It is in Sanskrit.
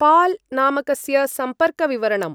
पाल् नामकस्य सम्पर्कविवरणम्।